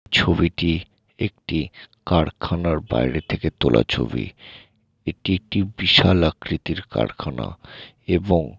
ছবিটি একটি কারখানার বাইরে থেকে তোলা ছবি | এটি একটি বিশাল আকৃতির কারখানা | এবং--